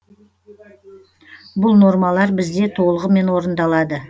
бұл нормалар бізде толығымен орындалады